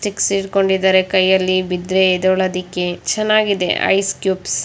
sticks ಹಿಡ್ಕೊಡಿದಾರೆ ಕೈಯಲ್ಲಿ ಬಿದ್ರೆ ಎದ್ದೇಳೋದಕ್ಕೆ ಚೆನ್ನಾಗಿದೆ ಐಸ್ ಕ್ಯೂಬ್ಸ್ --